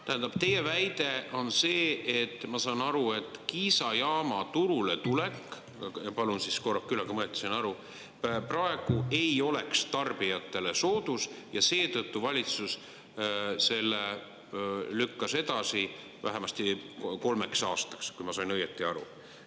Tähendab, teie väide on see, ma saan aru, et Kiisa jaama turuletulek – palun korrake üle, kui ma õieti sain aru – praegu ei oleks tarbijatele soodus ja seetõttu valitsus selle lükkas edasi vähemasti kolmeks aastaks, kui ma sain õieti aru.